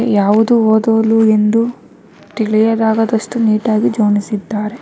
ಯಾವುದು ಓದುಲು ಎಂದು ತಿಳಿಯದಾಗದಷ್ಟು ನಿಟ್ ಆಗಿ ಜೋಣಿಸಿದ್ದಾರೆ.